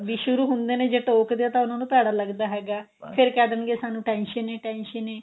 ਵੀ ਸ਼ੁਰੂ ਹੁੰਦੇ ਨੇ ਜੇ ਟੋਕਦੇ ਆ ਤਾਂ ਉਹਨਾ ਨੂੰ ਭੇੜਾ ਲੱਗਦਾ ਹੈਗਾ ਫੇਰ ਕਹਿ ਦੇਣਗੇ ਸਾਨੂੰ tension ਈ tension ਏ